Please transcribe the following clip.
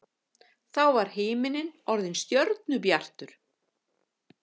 Þá var himinninn orðinn stjörnubjartur.